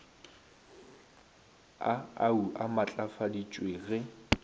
a au a matlafaditšwe ge